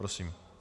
Prosím.